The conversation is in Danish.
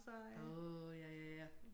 Åh ja ja ja